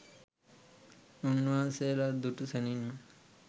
උන්වහන්සේලා දුටු සැණින්ම